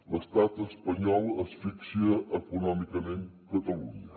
l’estat espanyol asfixia econòmicament catalunya